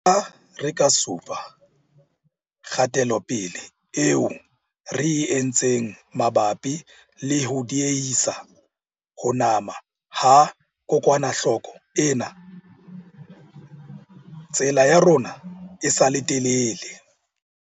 Le ha re ka supa kgatelopele eo re e entseng mabapi le ho diehisa ho nama ha kokwanahloko ena, tsela ya rona e sa le telele.